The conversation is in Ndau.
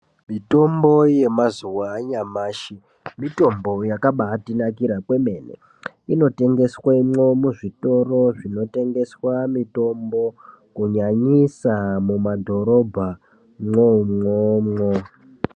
Mitombo yemazuva anyamashi mutombo yakabaatinakira kwemene. Inotengeswemwo muzvitoro zvinotengeswa mitombo kunyanyisa muma dhorobhamwo umwomwo.